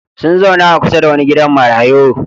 Sun zauna a kusa da wani gidan marayu.